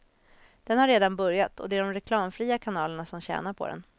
Den har redan börjat och det är de reklamfria kanalerna som tjänar på den.